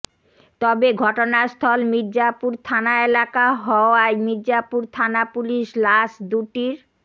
তবে ঘটনাস্থল মির্জাপুর থানা এলাকা হওয়ায় মির্জাপুর থানা পুলিশ লাশ দুটির